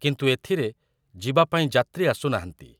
କିନ୍ତୁ ଏଥିରେ ଯିବା ପାଇଁ ଯାତ୍ରୀ ଆସୁନାହାନ୍ତି ।